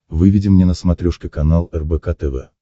выведи мне на смотрешке канал рбк тв